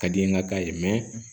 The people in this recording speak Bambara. Ka di n ye ŋa k'a ye